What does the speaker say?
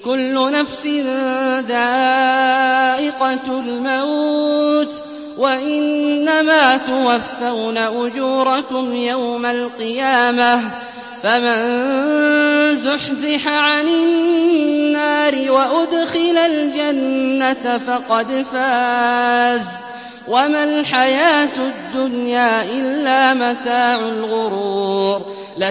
كُلُّ نَفْسٍ ذَائِقَةُ الْمَوْتِ ۗ وَإِنَّمَا تُوَفَّوْنَ أُجُورَكُمْ يَوْمَ الْقِيَامَةِ ۖ فَمَن زُحْزِحَ عَنِ النَّارِ وَأُدْخِلَ الْجَنَّةَ فَقَدْ فَازَ ۗ وَمَا الْحَيَاةُ الدُّنْيَا إِلَّا مَتَاعُ الْغُرُورِ